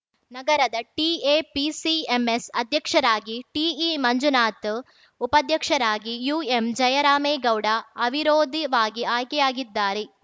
ನಗರದ ಟಿಎಪಿಸಿಎಂಎಸ್‌ ಅಧ್ಯಕ್ಷರಾಗಿ ಟಿಇಮಂಜುನಾಥ್‌ ಉಪಾಧ್ಯಕ್ಷರಾಗಿ ಯುಎಂಜಯರಾಮೇಗೌಡ ಅವಿರೋಧಿವಾಗಿ ಆಯ್ಕೆಯಾಗಿದ್ದಾರೆ